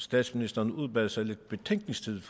statsministeren udbad sig lidt betænkningstid